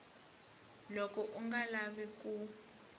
loko u nga lavi ku